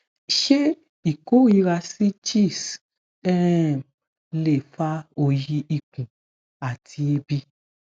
ṣé ikorira si cheese um lè fa òòyì ikùn àti ebi?